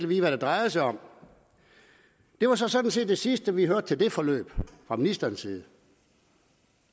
vide hvad det drejede sig om det var så sådan set det sidste vi hørte til det forløb fra ministerens side